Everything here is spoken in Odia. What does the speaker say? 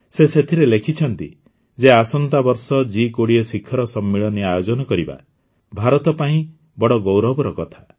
ସେଥିରେ ସେ ଲେଖିଛନ୍ତି ଯେ ଆସନ୍ତା ବର୍ଷ ଜି୨୦ ଶିଖର ସମ୍ମିଳନୀ ଆୟୋଜନ କରିବା ଭାରତ ପାଇଁ ବଡ଼ ଗୌରବର କଥା